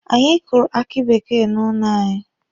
Anyị kụrụ aki bekee n'ụlọ anyị.